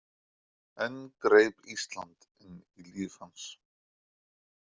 Enn greip Ísland inn í líf hans.